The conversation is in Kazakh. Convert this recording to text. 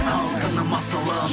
алтыным асылым